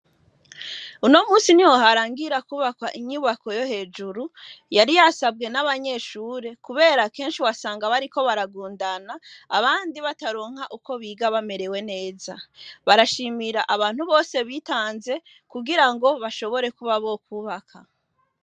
Uno musi ni hoharangira kubaka inyubako yo hejuru yari yasabwe n'abanyeshure, kubera kenshi basanga bariko baragundana abandi bataronka uko biga bamerewe neza barashimira abantu bose bitanze kugira ngo bashobore kuba bo kubaka.